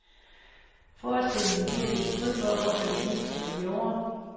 Forestillingen giver sit bud på, hvorfor det gik, som det gjorde.